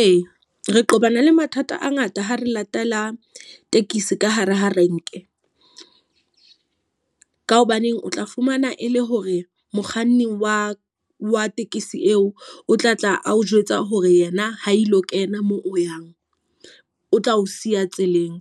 Ee, re qobana le mathata a ngata ha re latela tekesi ka hare ha renke. Ka hobaneng o tla fumana e le hore mokganni wa wa tekesi eo, o tla tla a o jwetsa hore yena ho ilo kena mo o yang o tla o siya tseleng.